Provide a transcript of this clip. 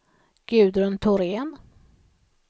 Gudrun Thorén